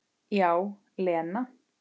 Já, Lena.